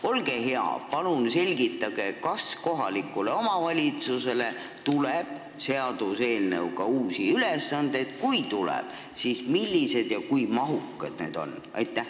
Olge hea, palun selgitage, kas kohalikule omavalitsusele tuleb seaduseelnõu kohaselt uusi ülesandeid, ja kui tuleb, siis milliseid ja kui mahukad need on!